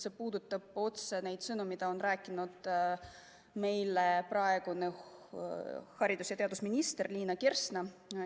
See puudutab otse seda, mida on rääkinud meile praegune haridus- ja teadusminister Liina Kersna.